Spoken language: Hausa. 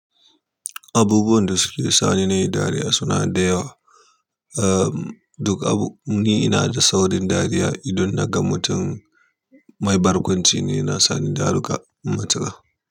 Abubuwan da suke sani nayi dariya suna da yawa, am duk abu, ni ina da aaurin dariya ne idan na ga mutum mai bargunci ne, na sani da ruka mutuwa.